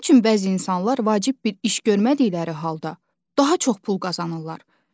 Nə üçün bəzi insanlar vacib bir iş görmədikləri halda daha çox pul qazanırlar?